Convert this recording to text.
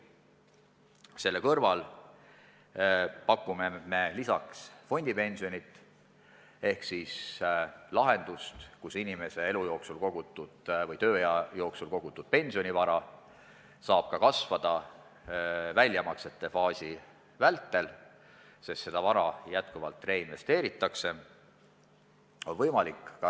Sellele lisaks pakume meie fondipensionit ehk lahendust, mille korral inimese elu või tööea jooksul kogutud pensionivara saab kasvada ka väljamaksete tegemise faasis, sest seda vara reinvesteeritakse jätkuvalt.